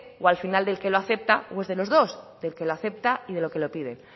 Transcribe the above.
o al final del que lo acepta o es de los dos del que lo acepta y del que lo pide